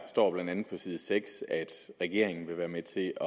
står blandt andet på side seks at regeringen vil være med til